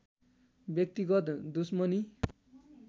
व्यक्तिगत दुश्मनी